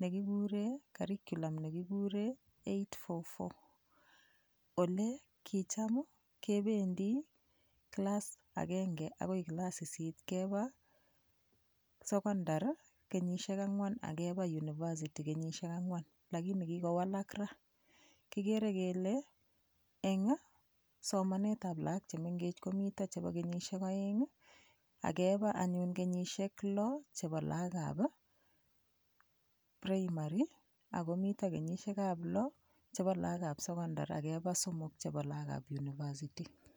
nekikure curriculum nekikure 8-4-4 ole kicham kebendi kilas agenge akoi kilas sisit keba sokondar kenyishek ang'wan akeba university kenyishek ang'wan lakini kikowalak ra kikere kele eng' somanetab lakok chemengech komito chebo kenyishek oeng' akeba anyun kenyishek loo chebo lakokab primary akomito kenyishekab loo chebo lakokab sokondar akeba somok chebo lakokab university